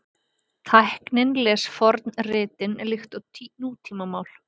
Tæknin les fornritin líkt og nútímamál